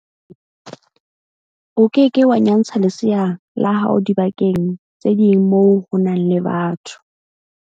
O ke ke wa nyantsha lesea la hao dibakeng tse ding moo ho nang le batho.